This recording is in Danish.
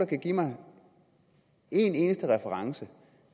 kan give mig en eneste reference